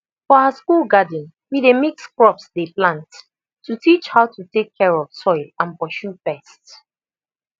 for our school garden we dey mix crops dey plant to teach how to take care of soil and pursue pest